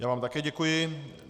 Já vám také děkuji.